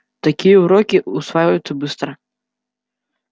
такие уроки усваиваются быстро